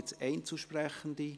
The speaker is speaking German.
Gibt es Einzelsprechende?